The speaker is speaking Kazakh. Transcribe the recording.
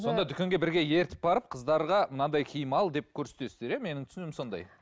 сонда дүкенге бірге ертіп барып қыздарға мынандай киім ал деп көрсететсіздер иә менің түсінігім сондай